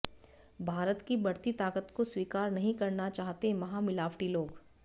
भारत की बढ़ती ताकत को स्वीकार नहीं करना चाहते महामिलावटी लोग